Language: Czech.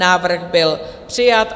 Návrh byl přijat.